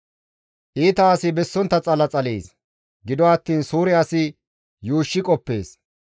Iita asi bessonttaz xala xalees; gido attiin suure asi yuushshi qoppees.